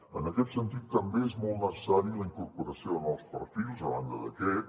en aquest sentit també és molt necessària la incorporació de nous perfils a banda d’aquest